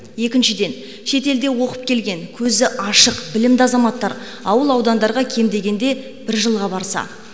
екіншіден шетелде оқып келген көзі ашық білімді азаматтар ауыл аудандарға кем дегенде бір жылға барса